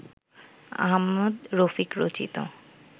আহমদ রফিক রচিত